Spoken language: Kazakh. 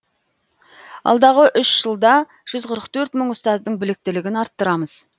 алдағы үш жылда жүз қырық төрт мың ұстаздың біліктілігін арттырамыз